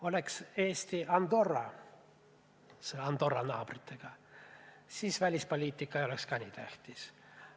Oleks Eesti Andorra tema naabritega, siis välipoliitika ei oleks ka nii tähtis.